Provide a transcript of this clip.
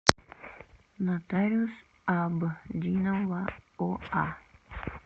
нотариус абдинова оа